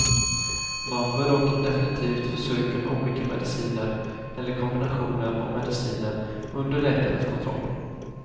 Man bör dock definitivt försöka med olika mediciner eller kombinationer av mediciner under läkares kontroll.